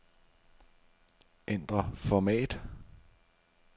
Ændr format.